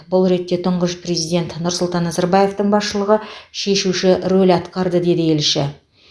бұл ретте тұңғыш президент нұрсұлтан назарбаевтың басшылығы шешуші рөл атқарды деді елші